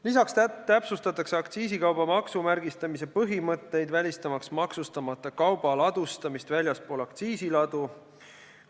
Lisaks täpsustatakse aktsiisikauba maksumärgistamise põhimõtteid, välistamaks maksustamata kauba ladustamist väljaspool aktsiisiladu.